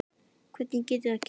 Hvernig getur það gengi?